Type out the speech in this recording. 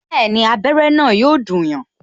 Bẹẹni, abere na yo dùn yan